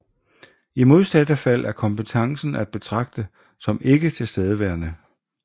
I modsatte fald er kompetencen at betragte som ikke tilstedeværende